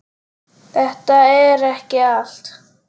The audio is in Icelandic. Þetta er ekki allt